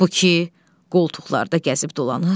Bu ki, qoltuqlarda gəzib dolanır.